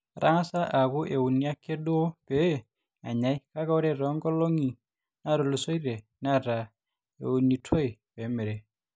etang'asa aaku euni ake duo pee enyai kake ore toonkolong'i naatulusoitie netaa eunitoi pee emirri